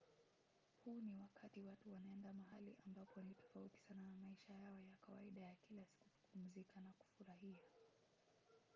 huu ni wakati watu wanaenda mahali ambapo ni tofauti sana na maisha yao ya kawaida ya kila siku kupumzika na kufurahia